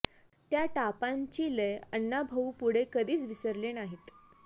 त्या टापांची लय अण्णा भाऊ पुढे कधीच विसरले नाहीत